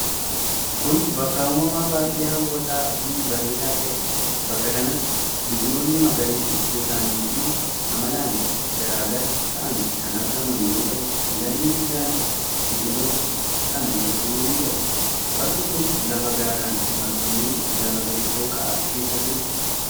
Kun, bakka uumamaa baay'ee haw'ataa fi bareedaa ta'ee dha. Bakka kanatti biqiloonni magariisni gosaan fi amalaan garaa gara ta'an kan argaman yoo ta'u, lagni guddaanis biqiloota kana gidduu ni darba. Bakki kun, lafa gaaran marfamee lafa gadi dhooqaa keessa jiruu dha.